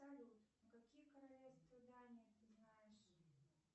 салют какие королевства дании ты знаешь